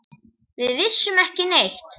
Við vissum ekki neitt.